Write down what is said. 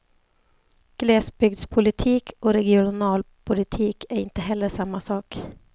Glesbygdspolitik och regionalpolitik är inte heller samma sak.